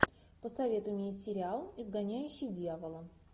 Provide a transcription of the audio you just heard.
посоветуй мне сериал изгоняющий дьявола